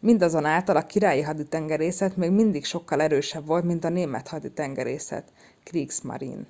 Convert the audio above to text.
mindazonáltal a királyi haditengerészet még mindig sokkal erősebb volt mint a német haditengerészet kriegsmarine”